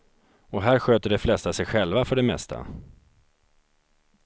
Och här sköter de flesta sig själva för det mesta.